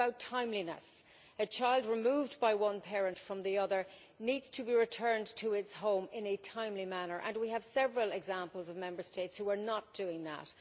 It is about timeliness a child removed by one parent from the other needs to be returned to its home in a timely manner, and we have several examples of Member States who are not doing that.